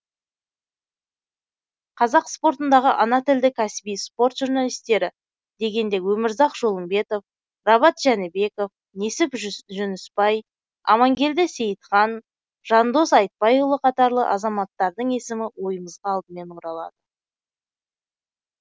қазақ спортындағы ана тілді кәсіби спорт журналистері дегенде өмірзақ жолымбетов рабат жәнібеков несіп жүнісбай амангелді сейітхан жандос айтбайұлы қатарлы азаматтардың есімі ойымызға алдымен оралады